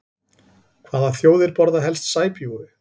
Hvaða þjóðir borða helst sæbjúgu?